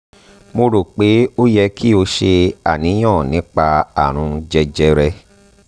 mo ro pe o kò yẹ ki o ṣe àníyàn nípa àrùn jẹjẹrẹ